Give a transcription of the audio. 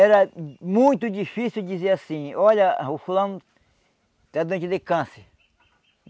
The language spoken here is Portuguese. Era muito difícil dizer assim, olha, o fulano está doente de câncer.